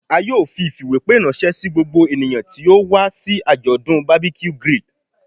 A yoo fi ifiwepe ranṣẹ si gbogbo eniyan ti o wa si ajọdun barbeque grill